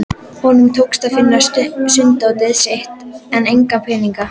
Honum tókst að finna sunddótið sitt en enga peninga.